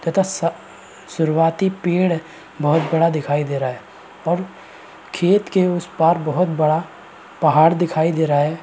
तथा स सुरवाती पेड़ बहोत बड़ा दिखाई दे रहा है और खेत के उस पार बहोत बड़ा पहाड़ दिखाई दे रहा है।